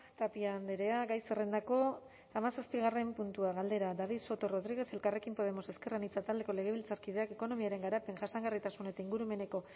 tapia andrea gai zerrendako hamazazpigarren puntua galdera david soto rodríguez elkarrekin podemos ezker anitza taldeko legebiltzarkideak ekonomiaren garapen jasangarritasun eta ingurumeneko